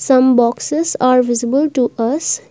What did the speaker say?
some boxes are visible to us.